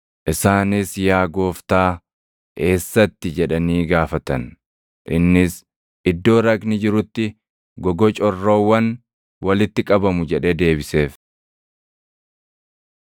Isaanis, “Yaa Gooftaa, eessatti?” jedhanii gaafatan. Innis, “Iddoo raqni jirutti gogocorroowwan walitti qabamu” jedhee deebiseef.